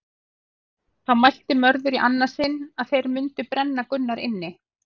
Þá mælti Mörður í annað sinn að þeir mundu brenna Gunnar inni.